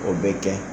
O bɛ kɛ